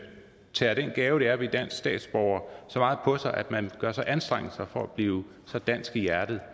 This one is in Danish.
tager den gave det er at blive dansk statsborger så meget på sig at man gør sig anstrengelser for at blive så dansk i hjertet